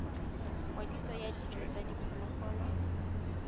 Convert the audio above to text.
kwadiso ya dijo tsa diphologolo